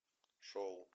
шоу